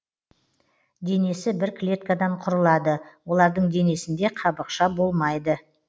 денесі бір клеткадан құрылады олардың денесінде қабықша болмайды